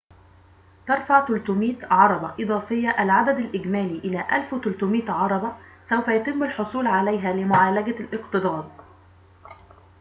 ترفع ٣٠٠ عربة إضافية العدد الإجمالي إلى ١٣٠٠ عربة سوف يتم الحصول عليها لمعالجة الاكتظاظ